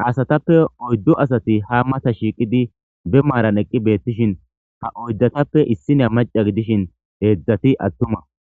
ha asatappe oyddu asati ha mata shiiqidi be maaran eqqi beettishin ha oyddatappe issina maca gidishin heedzdzati attuma.